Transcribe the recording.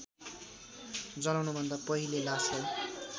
जलाउनुभन्दा पहिले लासलाई